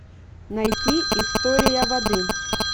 найти история воды